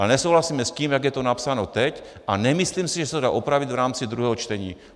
Ale nesouhlasíme s tím, jak je to napsáno teď, a nemyslím si, že se to dá opravit v rámci druhého čtení.